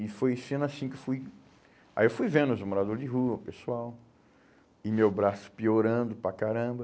E foi sendo assim que eu fui... Aí eu fui vendo os morador de rua, o pessoal, e meu braço piorando para caramba.